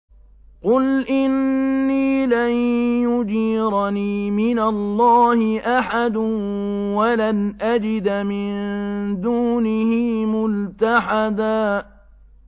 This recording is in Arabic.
قُلْ إِنِّي لَن يُجِيرَنِي مِنَ اللَّهِ أَحَدٌ وَلَنْ أَجِدَ مِن دُونِهِ مُلْتَحَدًا